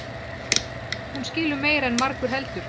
Hún skilur meira en margur heldur.